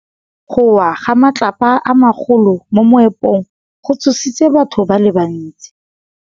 Go wa ga matlapa a magolo ko moepong go tshositse batho ba le bantsi.